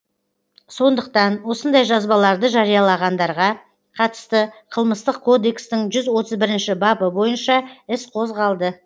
сондықтан осындай жазбаларды жариялағандарға қатысты қылмыстық кодекстің жүз отыз бірінші бабы бойынша іс қозғалды